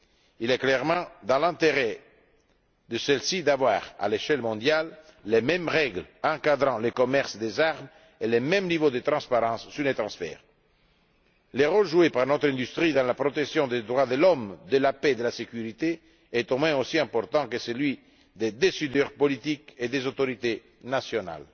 Il est clairement dans l'intérêt de ce secteur d'avoir, à l'échelle mondiale, les mêmes règles encadrant le commerce des armes et le même niveau de transparence sur les transferts. Le rôle joué par notre industrie dans la protection des droits de l'homme, de la paix et de la sécurité est, au moins, aussi important que celui des décideurs politiques et des autorités nationales.